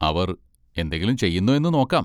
അവർ എന്തെങ്കിലും ചെയ്യുന്നോ എന്ന് നോക്കാം.